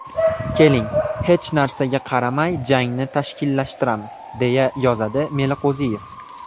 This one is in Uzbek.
Keling, hech narsaga qaramay jangni tashkillashtiramiz”, deya yozadi Meliqo‘ziyev.